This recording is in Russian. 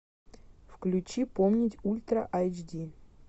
включи помнить ультра айч ди